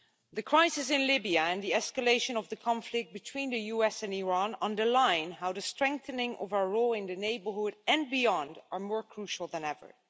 The crisis in Libya and the escalation of the conflict between the US and Iran underline how the strengthening of our role in the neighbourhood and beyond are more crucial than ever.